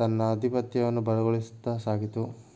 ತನ್ನ ಅಧಿಪತ್ಯವನ್ನು ಬಲಗೊಳಿಸುತ್ತಾ ಸಾಗಿತು